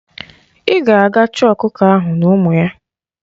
Ị ga-aga chọọ ọkụkọ ahụ na ụmụ ya!